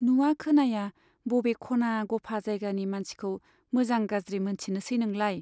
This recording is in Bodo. नुवा खोनाया बबे खना गफा जायगानि मानसिखौ मोजां गाज्रि मोनथिनोसै नोंलाय?